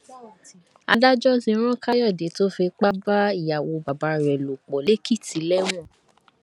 adájọ ti rán káyọdé tó fipá bá ìyàwó bàbá rẹ lò pọ lèkìtì lẹwọn